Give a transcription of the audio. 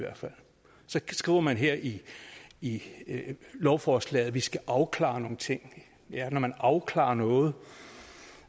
så skriver man her i i lovforslaget at vi skal afklare nogle ting ja når man afklarer noget